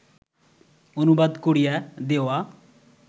অনুবাদ করিয়া দেওয়া